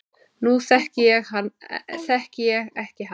Nú þekki ég ekki hann